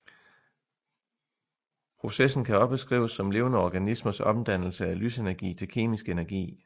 Processen kan også beskrives som levende organismers omdannelse af lysenergi til kemisk energi